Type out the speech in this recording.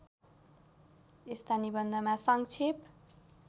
यस्ता निबन्धमा सङ्क्षेप